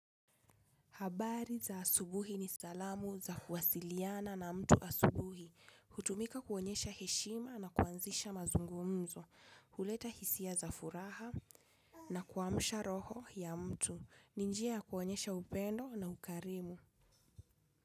Habari za asubuhi ni salamu za kuwasiliana na mtu asubuhi, hutumika kuonyesha heshima na kuanzisha mazungumzo, huleta hisia za furaha na kuamsha roho ya mtu, ni njia ya kuonyesha upendo na ukarimu.